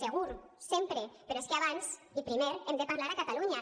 segur sempre però és que abans i primer hem de parlar a catalunya